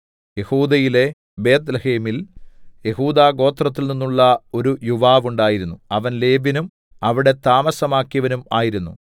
യെഹൂദയിലെ ബേത്ത്ലേഹേമിൽ യെഹൂദാഗോത്രത്തിൽനിന്നുള്ള ഒരു യുവാവ് ഉണ്ടായിരുന്നു അവൻ ലേവ്യനും അവിടെ താമസമാക്കിയവനും ആയിരുന്നു